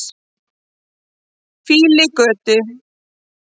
Fífilgötu